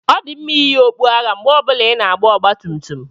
Ọ dị mma iyi okpu agha mgbe ọ bụla ị na-agba ọgba tum tum.